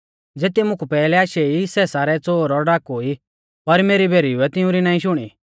ज़ेती मुकु पैहलै आशै ई सै सारै च़ोर और डाकू ई पर मेरी भेरीउऐ तिउंरी नाईं शुणी